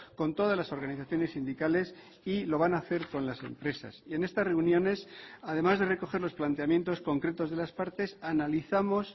con todas las organizaciones sindicales y lo van a hacer con las empresas y en estas reuniones además de recoger los planteamientos concretos de las partes analizamos